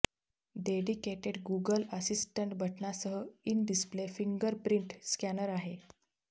dedicated Google assistant बटनासह in display fingerprint scanner आहे